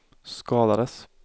skadades